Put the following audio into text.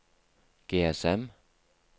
GSM